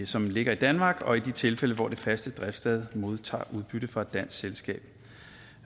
som ligger i danmark og i de tilfælde hvor det faste driftssted modtager udbytte fra et dansk selskab